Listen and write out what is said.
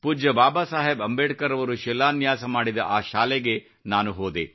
ಪೂಜ್ಯ ಬಾಬಾ ಸಾಹೇಬ್ ಅಂಬೇಡ್ಕರ್ ಅವರು ಶಿಲಾನ್ಯಾಸ ಮಾಡಿದ ಆ ಶಾಲೆಗೆ ನಾನು ಹೋದೆ